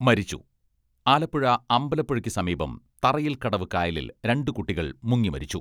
മരിച്ചു ആലപ്പുഴ അമ്പലപ്പുഴക്ക് സമീപം തറയിൽ കടവ് കായലിൽ രണ്ട് കുട്ടികൾ മുങ്ങി മരിച്ചു.